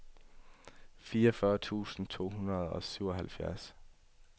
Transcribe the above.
fireogfyrre tusind to hundrede og syvoghalvfjerds